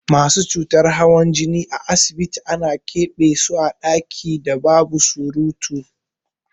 Masu cutar hawan jini a asibiti ana ƙebe so a ɗakin da babu surutu.